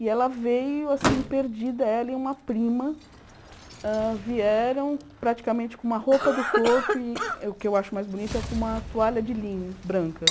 E ela veio assim perdida, ela e uma prima hã vieram praticamente com uma roupa do corpo e o que eu acho mais bonito é com uma toalha de linho branca.